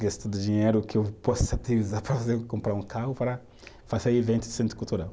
do dinheiro que eu posso utilizar para comprar um carro para fazer eventos de centro cultural.